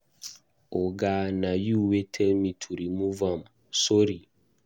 Oga, na you wey tell me to remove am, sorry.